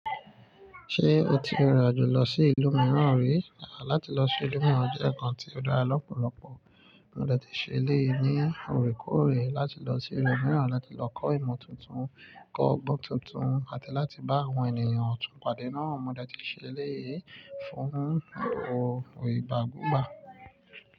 Ṣé o ti rìnrìn àjò lọ sí ìlú mìíràn rí? Àá láti lọ sí ìlú mìíràn jẹ́ ǹkan tí ó dára lọ́pọ̀lọ́pọ̀. Mo dẹ́ẹ̀ tí ṣe eleyi ní òrèkóòrè láti lọ sí ìlú mìíràn láti lọ kọ́ ìmọ̀ tuntun, kọ́ ọgbọ́n tuntun àti láti bá àwọn ènìyàn ọ̀túnpadé náà. Mo dẹ́ẹ̀ tí ṣe lé fún un òrò ìbá gùnbà.